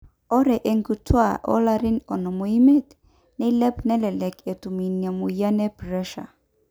ore inkituaak oolarin onom oimiet neilep nelelek etum ina mweyian e pressure